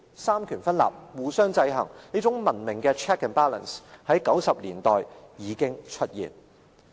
三權分立，互相制衡，這種文明的 check and balance， 在1990年代已經出現。